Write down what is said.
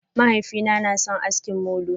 Mahaifina na sun aski molo.